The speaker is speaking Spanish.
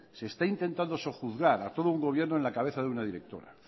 se está intentando sojuzgar a todo un gobierno en la cabeza de una directora